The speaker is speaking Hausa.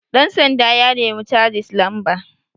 ɗansanda ya nemi casis lamba